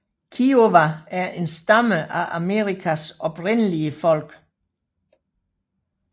Kiowa er en stamme af Amerikas oprindelige folk